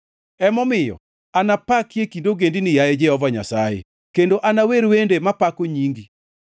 Emomiyo anapaki e kind ogendini, yaye Jehova Nyasaye, kendo anawer wende mapako nyingi.